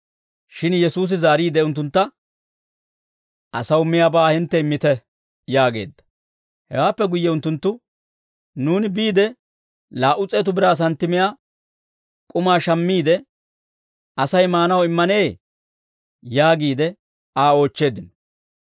Shin Yesuusi zaariide unttuntta, «Asaw miyaabaa hintte immite» yaageedda. Hewaappe guyye unttunttu, «Nuuni biide, laa"u s'eetu biraa santtimiyaa k'umaa shammiide, Asay maanaw immanee?» yaagiide Aa oochcheeddino.